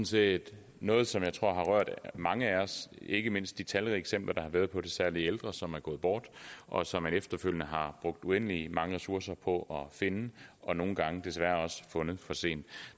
set noget som jeg tror har rørt mange af os ikke mindst de talrige eksempler der har været på særlig ældre som er gået bort og som man efterfølgende har brugt uendelig mange ressourcer på at finde og nogle gange desværre også har fundet for sent